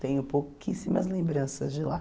Tenho pouquíssimas lembranças de lá.